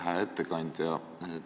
Hää ettekandja!